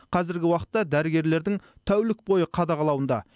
қазіргі уақытта дәрігерлердің тәулік бойы қадағалауында